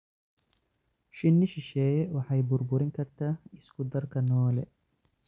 Shinni shisheeye waxay burburin kartaa isku-darka noole.